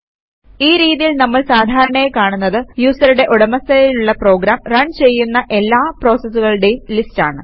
ഈ രീതിയിൽ നമ്മൾ സാധാരണയായി കാണുന്നത് യൂസറുടെ ഉടമസ്ഥതയിലുള്ള പ്രോഗാം റൺ ചെയ്യുന്ന എല്ലാ പ്രോസസൂകളുടേയും ലിസ്റ്റ് ആണ്